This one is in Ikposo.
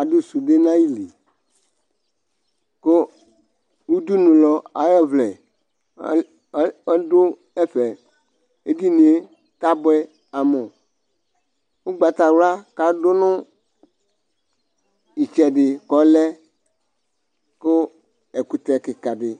aɖʋ sunde n'ayiili k'ʋɖʋnʋlɔ ayɔ vlɛ ayʋ ayʋ aɖʋ ɛfɛ Eɖinie t'abuɛ amuƲgbatawua k'aɖʋnʋ itsɛɖi k'olɛ kʋ ɛkutɛ kikaɖi